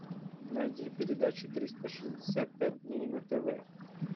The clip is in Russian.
найди передачу триста шестьдесят пять дней на тв